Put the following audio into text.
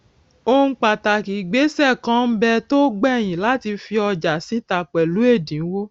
ohun pàtàkì ìgbésè kan n bẹ tó gbèyìn láti fi ọjà síta pèlú èdínwó